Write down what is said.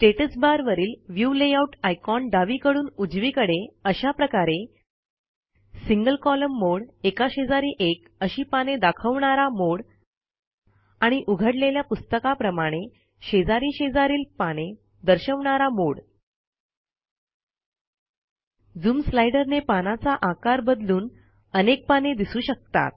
status बारवरील view layout icon डावीकडून उजवीकडे अशाप्रकारे160 सिंगल कोलम्न मोडे एकाशेजारी एक अशी पाने दाखवणारा मोडे आणि उघडलेल्या पुस्तकाप्रमाणे शेजारी शेजारील पाने दर्शवणारा मोडे झूम स्लाइडर ने पानाचा आकार बदलून अनेक पाने दिसू शकतात